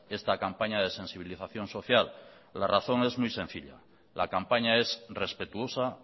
esta campaña de sensibilización social la razón es muy sencilla la campaña es respetuosa